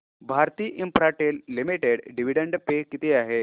Bharti Infratel Limited dividend pay किती आहे